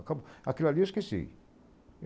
Aquilo ali eu esqueci.